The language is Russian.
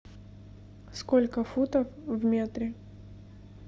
сколько футов в метре